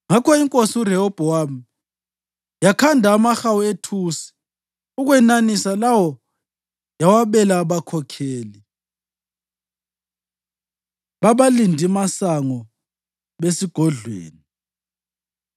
Ngakho iNkosi uRehobhowami yakhanda amahawu ethusi ukwenanisa lawo yawabela abakhokheli babalindimasango besigodlweni.